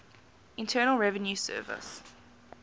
internal revenue service